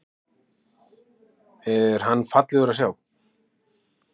Er hann fallegur að sjá?